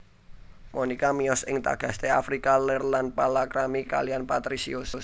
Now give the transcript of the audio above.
Monika miyos ing Tagaste Afrika Lèr lan palakrami kaliyan Patrisius